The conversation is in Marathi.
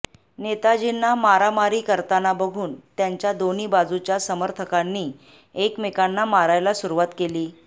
नेताजींना मारामारी करताना बघून त्यांच्या दोन्ही बाजूच्या समर्थकांनी एकमेकांना मारायला सुरुवात केली